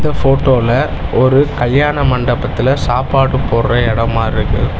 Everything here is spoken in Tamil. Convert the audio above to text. அ ஃபோட்டோல ஒரு கல்யாண மண்டபத்துல சாப்பாடு போடுற எடோ மார்ருக்கு.